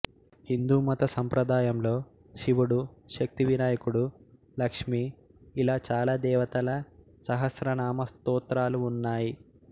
హిందూమత సాంప్రదాయంలో శివుడు శక్తి వినాయకుడు లక్ష్మి ఇలా చాలా దేవతల సహస్రనామ స్తోత్రాలు ఉన్నాయి